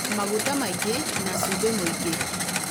maguta maingĩ, na cumbĩ mũingĩ